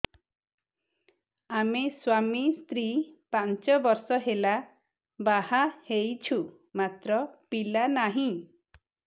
ଆମେ ସ୍ୱାମୀ ସ୍ତ୍ରୀ ପାଞ୍ଚ ବର୍ଷ ହେଲା ବାହା ହେଇଛୁ ମାତ୍ର ପିଲା ନାହିଁ